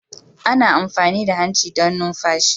Ana amfani da hanci don numfashi.